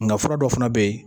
Nka fura dɔ fana bɛ yen